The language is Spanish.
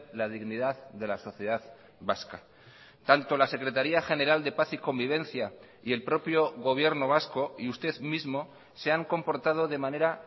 la dignidad de la sociedad vasca tanto la secretaría general de paz y convivencia y el propio gobierno vasco y usted mismo se han comportado de manera